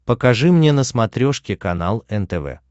покажи мне на смотрешке канал нтв